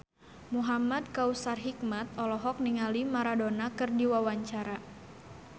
Muhamad Kautsar Hikmat olohok ningali Maradona keur diwawancara